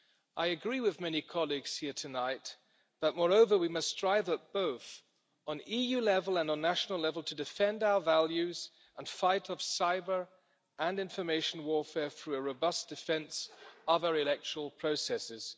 I agree with many colleagues here tonight, but moreover we must strive at both EU level and national level to defend our values and the fight of cyber and information warfare through a robust defence of our electoral processes.